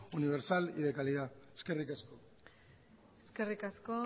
universal y de calidad eskerrik asko eskerrik asko